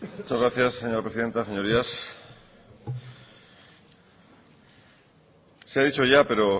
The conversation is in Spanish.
muchas gracias señora presidenta señorías se ha dicho ya pero